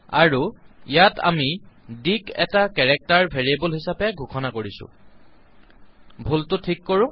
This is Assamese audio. আৰু ইয়াত আমি ডি ক এটা কেৰেক্টাৰ ভেৰিয়েবল হিচাবে ঘোষণা কৰিছো ভুলটো ঠিক কৰো